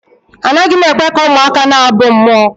Anaghị m ekwe ka ụmụaka na-abụ mmụọ